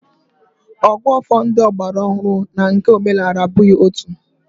Ògụ́àfọ̀ ndị ọgbaraọhụrụ na nke omenala abụghị otu